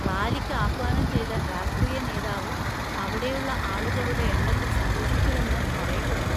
റാലിക്ക് ആഹ്വാനം ചെയ്ത രാഷ്ട്രീയ നേതാവ് അവിടെയുള്ള ആളുകളുടെ എണ്ണത്തിൽ സന്തോഷിച്ചുവെന്ന് പറയപ്പെടുന്നു.